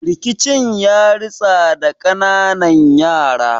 Rikicin yaritsa da kananan yara